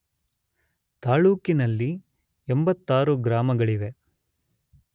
ತಾಲ್ಲೂಕಿನಲ್ಲಿ 86 ಗ್ರಾಮಗಳಿವೆ.